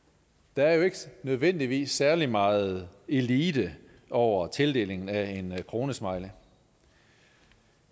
der er jo ikke nødvendigvis særlig meget elite over tildelingen af en kronesmiley